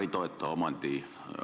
Aitäh!